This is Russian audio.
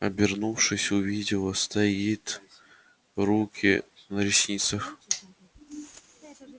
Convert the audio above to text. обернувшись увидела стоит руки на ресницах